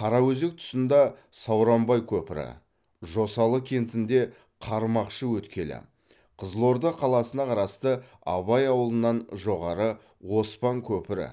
қараөзек тұсында сауранбай көпірі жосалы кентінде қармақшы өткелі қызылорда қаласына қарасты абай ауылынан жоғары оспан көпірі